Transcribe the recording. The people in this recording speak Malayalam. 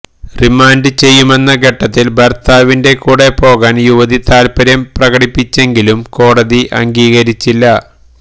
റിമാന്ഡ് ചെയ്യുമെന്ന ഘട്ടത്തില് ഭര്ത്താവിന്റെ കൂടെ പോകാന് യുവതി താല്പ്പര്യം പ്രകടിപ്പിച്ചെങ്കിലും കോടതി അംഗീകരിച്ചില്ല